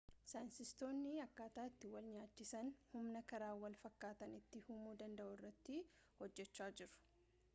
saayinstistootni akkataa itti wal-nyaachisaan humna karaa wal fakkataan itti uumuu danda'u irratti hojjechaa jiru